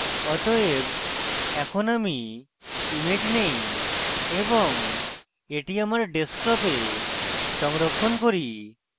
অতএব এখন আমি image নেই এবং এটি আমার ডেস্কটপে সংরক্ষণ করি